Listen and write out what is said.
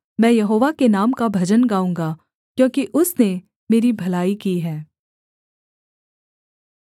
मैं यहोवा के नाम का भजन गाऊँगा क्योंकि उसने मेरी भलाई की है